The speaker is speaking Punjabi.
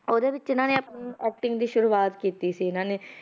ਉਹਦੇ ਵਿੱਚ ਇਹਨਾਂ ਨੇ ਆਪਣੀ acting ਦੀ ਸ਼ੁਰੂਆਤ ਕੀਤੀ ਸੀ ਇਹਨਾਂ ਨੇ,